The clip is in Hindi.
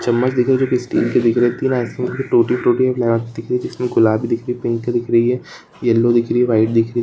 चम्मच दिख रही है जो स्टील तीन आइसक्रीम की टूटी फ्रूटी दिख रही है जिस में गुलाबी दिख रही है पिंक दिख रही है येलो दिख रही है।